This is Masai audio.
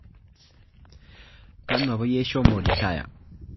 Kanu apa iyie ishomo retire